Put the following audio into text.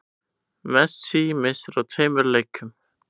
Messi missir af tveimur leikjum